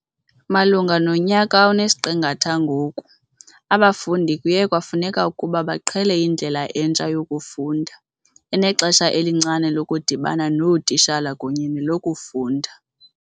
"Malunga nonyaka onesiqingatha ngoku, abafundi kuye kwafuneka ukuba baqhele indlela entsha yokufunda, enexesha elincinane lokudibana nootitshala kunye nelokufunda."